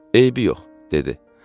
Və eybi yox, dedi.